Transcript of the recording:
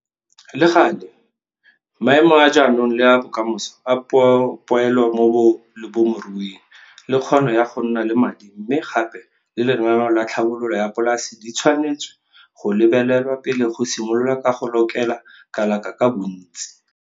Le gale, maemo a jaanong le a bokamoso a poelo mo bolemiruing le kgono ya go nna le madi mme gape le lenaneo la tlhabololo ya polase di tshwanetswe go lebelelwa pele go simololwa ka go lokela kalaka ka bontsi.